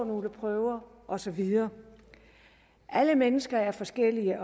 nogle prøver og så videre alle mennesker er forskellige